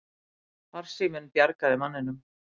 Farsíminn bjargaði manninum